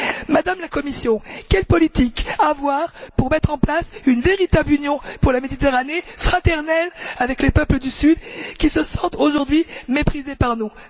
Madame la Commissaire, quelle politique avoir pour mettre en place une véritable Union pour la Méditerranée, fraternelle avec les peuples du Sud, qui se sentent aujourd'hui méprisés par nous?